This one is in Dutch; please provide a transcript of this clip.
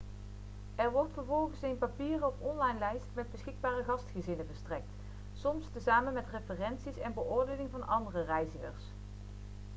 er wordt vervolgens een papieren of online lijst met beschikbare gastgezinnen verstrekt soms tezamen met referenties en beoordelingen van andere reizigers